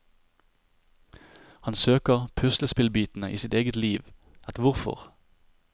Han søker puslespillbitene i sitt eget liv, et hvorfor.